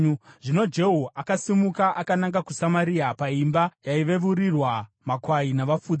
Zvino Jehu akasimuka akananga kuSamaria. Paimba yaiveurirwa makwai navafudzi,